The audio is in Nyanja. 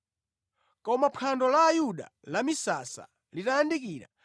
Koma phwando la Ayuda lamisasa litayandikira,